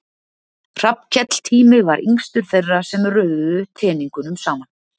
Hrafnkell Tími var yngstur þeirra sem röðuðu teningnum saman.